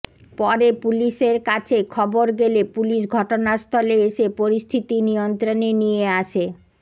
পরে পুলিশের কাছে খবর গেলে পুলিশ ঘটনাস্থলে এসে পরিস্থিতি নিয়ন্ত্রণে নিয়ে আসে